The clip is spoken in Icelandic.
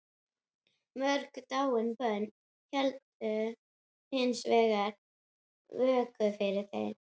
Mörg dáin börn héldu hins vegar vöku fyrir mér.